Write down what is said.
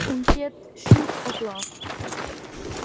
Hún hét „Shot of Love“.